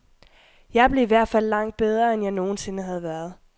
Jeg blev i hvert fald langt bedre, end jeg nogen sinde havde været.